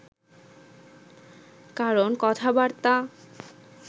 কারণ কথাবার্তা